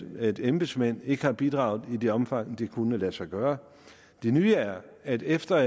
at embedsmændene ikke har bidraget i det omfang det kunne lade sig gøre den nye er at efter